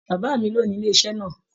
Bàbá mí lóni ilé iṣẹ náà.